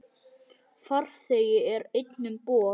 Farþegi er einn um borð.